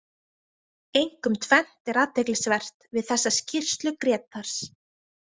Einkum tvennt er athyglisvert við þessa skýrslu Grétars.